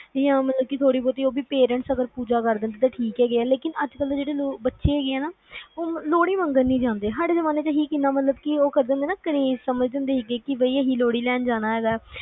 ਜਾ ਮਤਲਬ ਥੋੜੀ ਬਹੁਤੀ parents ਪੂਜਾ ਕਰ ਦਿੰਦੇ ਆ ਤਾ ਠੀਕ ਆ ਨਹੀਂ ਤਾ ਜਿਵੇ ਅੱਜ ਕੱਲ ਦੇ ਜਿਹੜੇ ਬਚੇ ਹੈਗੇ ਆ ਨਾ ਲੋਹੜੀ ਮੰਗਣ ਨੀ ਜਾਂਦੇ ਸਾਡੇ ਜ਼ਮਾਨੇ ਚ ਅਸੀਂ ਕਿੰਨਾ ਮਤਲਬ ਕਿ ਅਸੀਂ craze ਸਮਝਦੇ ਹੁੰਦੇ ਸੀ ਕਿ ਅਸੀਂ ਲੋਹੜੀ ਲੈਣ ਜਾਣਾ ਹੈਗਾ